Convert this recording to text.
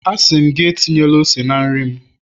a si m gi, etinyela ose na nri m